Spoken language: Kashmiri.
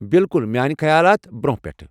بِالكُل میٲنہِ خیالات ، برونہہ پیٹھہٕ ۔